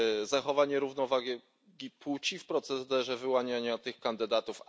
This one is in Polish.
zachowanie równowagi płci w procederze wyłaniania tych kandydatów.